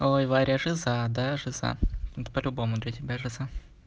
ой варя жиза да жиза ну это по-любому для тебя жиза